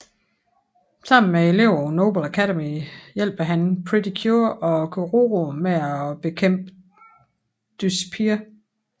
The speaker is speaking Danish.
Sammen med eleverne på Noble Academy hjælper han Pretty Cure og Kuroro med at bekæmpe Dyspear